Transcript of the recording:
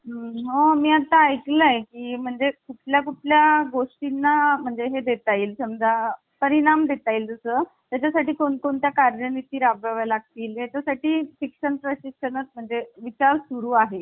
आता राज्य आणि केंद्र असत. केंद्रसरकार असत आणि राज्यसरकार असत पण जास्त Power कोणाला द्यावी तर केंद्राला द्यावी अस आपण कॅनडाकडून स्वीकारलेल आहे. अमेरिकेकडूनही अमेरिकेत जास्त Power हि राज्यांकडे आहे.